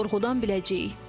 Sorğudan biləcəyik.